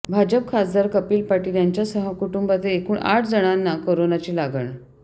भाजप खासदार कपिल पाटील यांच्यासह कुटुंबातील एकूण आठ जणांना कोरोनाची लागण